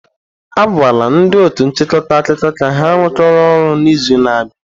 A gwala ndị otu nchịkọta akụkọ ka ha rụkọọ ọrụ n'izu na-abịa.